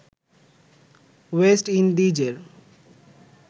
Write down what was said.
West ইন্ডিজের